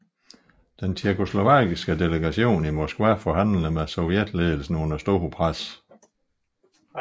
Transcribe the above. Den tjekkoslovakiske delegation i Moskva forhandler med sovjetledelsen under stort pres